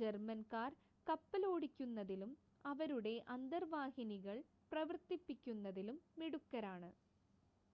ജർമ്മൻകാർ കപ്പലോടിക്കുന്നതിലും അവരുടെ അന്തർവാഹിനികൾ പ്രവർത്തിപ്പിക്കുന്നതിലും മിടുക്കരാണ്